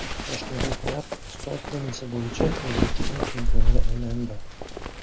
Toshkentliklar stol tennisi bo‘yicha O‘zbekiston chempioniga aylandi.